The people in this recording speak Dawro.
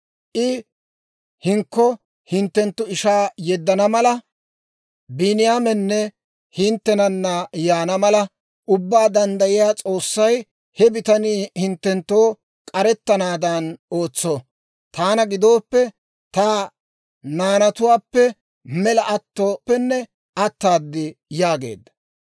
I hinkko hinttenttu ishaa yeddana mala, Biiniyaamenne hinttenana yaana mala, Ubbaa Danddayiyaa S'oossay he bitanii hinttenttoo k'arettanaadan ootso. Taana gidooppe, ta naanatuwaappe mela attooppenne ataad» yaageedda.